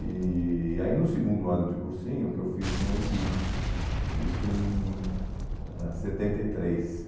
E e aí no segundo ano de cursinho, que eu fiz no equipe, uhum, isso em ãh setenta e três